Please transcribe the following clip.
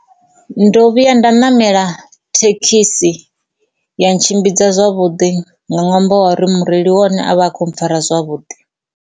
Ndo vhuya nda ṋamela thekhisi ya ntshimbidza zwavhuḓi nga ṅwambo wa re mureili wa ane avha akho mpfara zwavhuḓi.